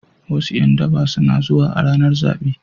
Wasu ’yan daba suna zuwa a ranar zabe.